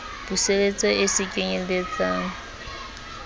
puseletso e se kenyel letsang